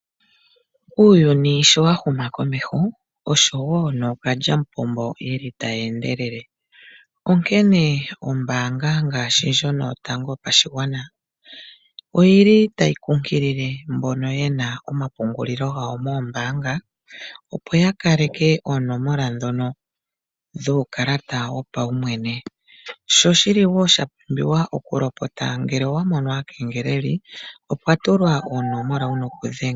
Uuyuni sho wa huma komeho oshowo nookalyamupombo yeli taye endelele onkene ombaanga ngaashi ndjono yotango yopashigwana oyili tayi kunkilile mbono yena omapungulilo gawo moombaanga opo ya kaleke oonomola dhono dhuukalata wopaumwene, sho oshili wo sha pumbiwa oku lopota ngele wa mono aakengeleli opwa tulwa oonomola wuna oku dhenga.